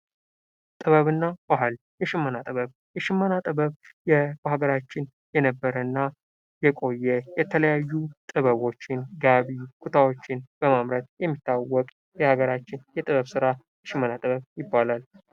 ጥበብና ባህል የሽመና ጥበብ የሽመና ጥበብ በሀገራችን የነበረ እና የቆየ የተለያዩ ጥበቦችን ጋቢ፣ ቦታዎችን በማምረት በሚታወቀው የሀገራችን የጥበብ ስራ ሽመና ጥበብ ይባላል።